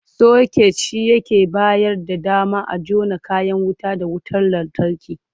Soket shi yake bayar da dama a jona kayan wuta da wutar lantarki.